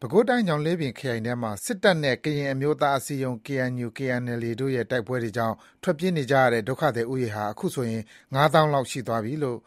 ပဲခူးတိုင်း၊ ညောင်လေးပင်ခရိုင်ထဲမှာ စစ်တပ်နဲ့ ကရင်အမျိုးသားအစည်းအရုံး KNU/KNLA တို့ တိုက်ပွဲတွေကြောင့် ထွက်ပြေးနေကြရတဲ့ ဒုက္ခသည်ဦးရေဟာ အခုဆိုရင် ၅ သောင်းလောက် ရှိသွားပြီလို့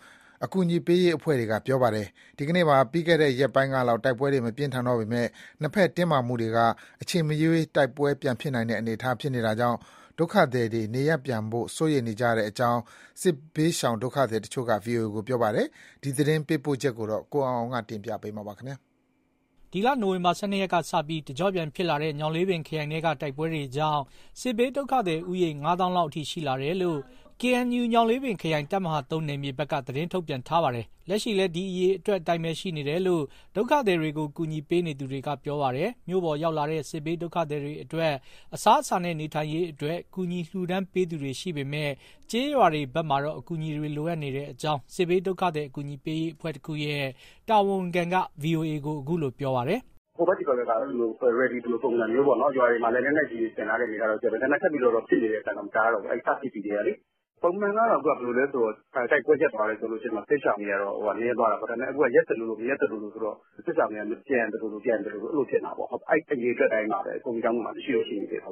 အကူအညီပေးရေး အဖွဲ့တွေက ပြောပါတယ်။ ဒီကနေ့မှာ ပြီးခဲ့တဲ့ ရက်ပိုင်းကလောက် တိုက်ပွဲ မပြင်းထန်တော့ပေမဲ့ နှစ်ဘက်တင်းမာမှုတွေက အချိန်မရွေး တိုက်ပွဲပြန်ဖြစ်နိုင်တာကြောင့် ဒုက္ခသည်တွေ နေရပ်ပြန်ဖို့ စိုးရိမ်နေကြတဲ့အကြောင်း စစ်ဘေးဒုက္ခသည်တချို့က ဗွီအိုအေ ကို ပြောပါတယ်။ ရန်ကုန်ကလာတဲ့သတင်းပေးပို့ချက်ကို ကိုအောင်အောင်က တင်ပြပေးထားပါတယ်။ ဒီလ နိုဝင်ဘာလ ၁၂ ရက်ကစပြီး တကျော့ပြန်ဖြစ်လာတဲ့ ညောင်လေးပင်ခရိုင်ထဲက တိုက်ပွဲတွေကြောင့် စစ်ဘေးဒုက္ခသည် ဦးရေ ၅ သောင်းလောက်အထိ ရှိလာတယ်လို့ KNU ညောင်လေးပင်ခရိုင် တပ်မဟာ နယ်မြေဘက်က သတင်းထုတ်ပြန်ထားပါတယ်။ လက်ရှိလည်း ဒီအရေအတွက်အတိုင်းပဲရှိနေတယ်လို့ ဒုက္ခသည်တွေကို ကူညီပေးနေသူတွေက ပြောပါတယ်။ မြို့ပေါ်ရောက်လာတဲ့ စစ်ဘေးဒုက္ခသည်တွေအတွက် အစားအစာနဲ့ နေထိုင်ရေးအတွက် ကူညီလှူဒါန်းပေးသူတွေ ရှိပေမဲ့ ကျေးရွာတွေဘက်မှာတော့ အကူအညီတွေလိုအပ်နေကြောင်း စစ်ဘေးဒုက္ခသည် အကူအညီပေးရေး အဖွဲ့တခုရဲ့တာဝန်ခံက ဗွီအိုအေကို ပြောပါတယ်။ "ဟိုဘက် သည်ဘက်ကတော့ ready လိုပုံစံမျိုးပေါ့၊ ရွာတွေမှာလည်း လက်နက်ကြီးတွေ ဆင်ထားတဲ့အနေအထားရှိတယ်၊ ဒါပေမဲ့ ထပ်ပြီးတော့ ဖြစ်နေတဲ့ အသံတော့ မကြားတော့ဘူး။ စဖြစ်ပြီးကတည်းကလေ။ ပုံမှန်ကတော့ တိုက်ပွဲရပ်သွားတယ်ဆိုရင် စစ်ရှောင်တွေက နည်းသွားတာပေါ့။ ဒါပေမဲ့ အခုက ရပ်သလိုလို မရပ်သလိုလိုဆိုတော့ စစ်ရှောင်တွေက ပြန်သလို မပြန်သလို အဲလိုဖြစ်နေတာပေါ့။ အဲဒီအရေအတွက် အတိုင်းပါပဲ။ ဘုန်းကြီးကျောင်းတွေမှာ ရှိနေသေးတယ်။"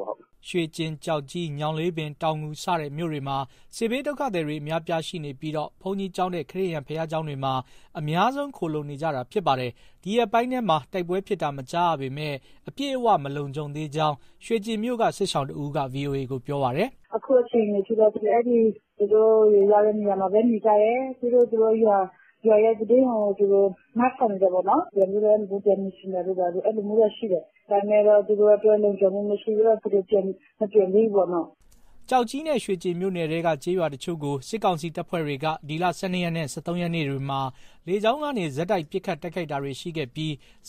ရွှေကျင်၊ ကျောက်ကြီး၊ ညောင်လေးပင်၊ တောင်ငူ စတဲ့ မြို့တွေမှာ စစ်ဘေးဒုက္ခသည်တွေ အများအပြားရှိနေပြီး ဘုန်းကြီးကျောင်းနဲ့ ခရစ်ယာန် ဘုရားကျောင်းတွေမှာ အများဆုံး ခိုလှုံနေကြတာ ဖြစ်ပါတယ်။ ဒီရက်ပိုင်းထဲမှာ တိုက်ပွဲဖြစ်တာ မကြားရပေမဲ့ အပြည့်အဝ မလုံခြုံသေးကြောင်း ရွှေကျင်မြို့က စစ်ရှောင်တဦးက ဗွီအိုအေကို ပြောပါတယ်။ "အခုအခြေအနေအထိတော့ သူတို့ရောက်တဲ့နေရာမှာပဲ နေကြတယ်။ ပြီးတော့ သူတို့ရွာရဲ့သတင်းကို သူတို့ နားထောင်နေတာပေါ့နော်။ ပြန်နေချင်တာတို့ ဘာတို့ အဲလိုမျိုးတော့ရှိတယ်၊ ဒါပေမဲ့ သူတို့အတွက် လုံခြုံမှုမရှိသေးတော့ မပြန်သေးဘူးပေါ့ နော့။" ကျောက်ကြီးနဲ့ ရွှေကျင်မြို့နယ်ထဲက ကျေးရွာတချို့ကို စစ်ကောင်စီတပ်ဖွဲ့တွေက ဒီလ ၁၂ ရက်နဲ့ ၁၃ ရက်နေ့တွေမှာ လေကြောင်းကနေ ဆက်တိုက် ပစ်ခတ်တိုက်ခိုက်ခဲ့ပြီး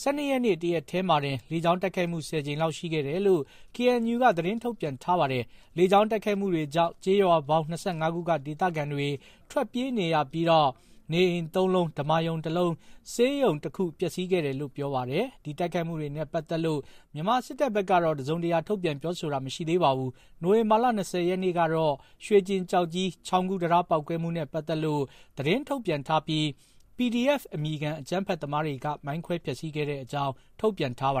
၁၂ ရက်နေ့ တရက်တည်းမှာတင် လေကြောင်းတိုက်ခိုက်မှု ၁၀ ကြိမ်လောက် ရှိခဲ့တယ်လို့ KNU က သတင်းထုတ်ပြန်ထားပါတယ်။ လေကြောင်း တိုက်ခိုက်မှုတွေကြောင့် ကျေးရွာပေါင်း ၂၅ ခုက ဒေသခံတွေ ထွက်ပြေးနေရပြီး နေအိမ် သုံးလုံး၊ ဓမ္မာရုံတလုံး၊ ဆေးရုံတခု ပျက်စီးခဲ့တယ်လို့လည်း ပြောပါတယ်။ ဒီတိုက်ခိုက်မှုတွေနဲ့ပတ်သက်လို့ မြန်မာစစ်တပ်ဘက်ကတော့ တစုံတရာ ထုတ်ပြန် ပြောဆိုတာ မရှိသေးပါဘူး။ နိုဝင်ဘာလ ၂၀ ရက်နေ့ ကတော့ ရွှေကျင်-ကျောက်ကြီး ချောင်းကူးတံတား ပေါက်ကွဲမှုနဲ့ပတ်သက်လို့ သတင်းထုတ်ပြန်ထားပြီး PDF အမည်ခံ အကြမ်းဖက် သမားတွေက မိုင်းခွဲ ဖျက်ဆီးခဲ့တဲ့အကြောင်း ထုတ်ပြန်ထားပါ